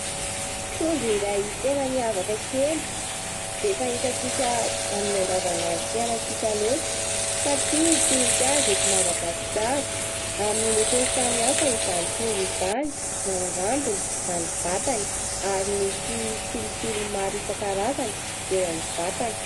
Trondro iray tena miavaka kely, tsy dia fahitantsika amin'ny andavanandrom-pianantsika loatra satria tsy misy azy eto Madagasikara. Amin'ny lokony samy hafa izany trondro izany, na ny rambony na ny vatany ary misy tsilotsilo maro isankarazany eo amin'ny vatany.